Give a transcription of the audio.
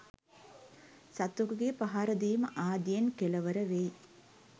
සතෙකුගේ පහරදීම ආදියෙන් කෙළවර වෙයි.